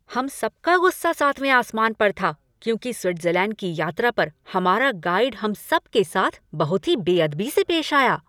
हम सब का गुस्सा सातवें आसमान पर था क्योंकि स्विट्जरलैंड की यात्रा पर हमारा गाइड हम सब के साथ बहुत ही बेअदबी से पेश आया।